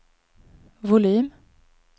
volym